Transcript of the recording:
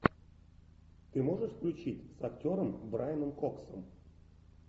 ты можешь включить с актером брайаном коксом